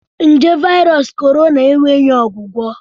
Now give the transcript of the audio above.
Nje Virus Corona enweghị ọgwụgwọ.